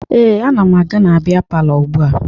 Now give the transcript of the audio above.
Ee, ana m aga na bịa palọ ugbua